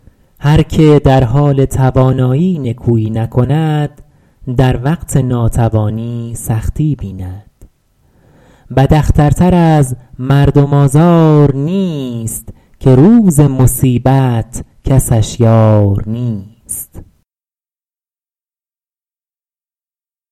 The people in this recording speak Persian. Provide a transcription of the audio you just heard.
هر که در حال توانایی نکویی نکند در وقت ناتوانی سختی بیند بد اختر تر از مردم آزار نیست که روز مصیبت کسش یار نیست